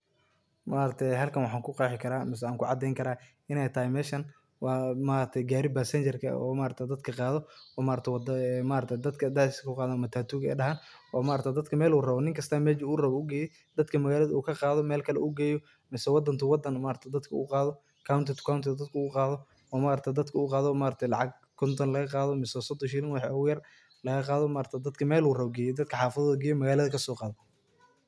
Halkan waxan kuqexi kara ama kucadeyni kara iney tahay meeshan wa gari basenjar oo dadka qado oo matatuga dhahan oo ninkasta meelu rawo geyo, dadka intu magalada kaqado oo meshey rawan geyo mise wadan to wadan uqado county to county dadka uqado oo lacaga konto mise sodon shilin wixi oguyar lagaqado oo dadka melu rawo geyo dadka xafadahoda kasoqado magalada geyo.